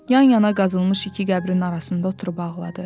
Yan-yana qazılmış iki qəbrin arasında oturub ağladı.